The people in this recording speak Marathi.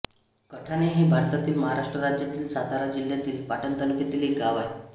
कढाणे हे भारतातील महाराष्ट्र राज्यातील सातारा जिल्ह्यातील पाटण तालुक्यातील एक गाव आहे